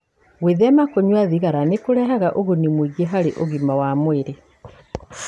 Gwĩthema kũnyua thigara nĩ kũrehaga ũguni mũingĩ harĩ ũgima wa mwĩrĩ.